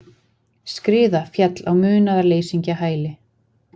Skriða féll á munaðarleysingjahæli